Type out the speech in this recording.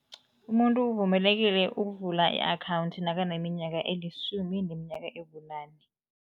Umuntu uvumelekile ukuvula i-akhawundi nakaneminyaka elisumi neminyaka ebunane.